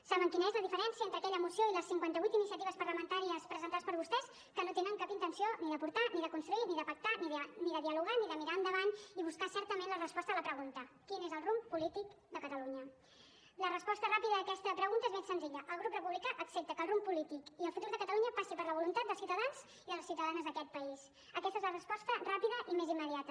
saben quina és la diferència entre aquella moció i les cinquanta vuit iniciatives parlamentàries presentades per vostès que no tenen cap intenció ni d’aportar ni de construir ni de pactar ni de dialogar ni de mirar endavant i buscar certament la resposta a la pregunta quin és el rumb polític de catalunya la resposta ràpida a aquesta pregunta és ben senzilla el grup republicà accepta que el rumb polític i el futur de catalunya passin per la voluntat dels ciutadans i de les ciutadanes d’aquest país aquesta és la resposta ràpida i més immediata